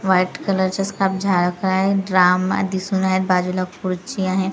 White कलरच्या scarf झालं काय ड्रम दिसून आहेत बाजूला खुर्ची आहे.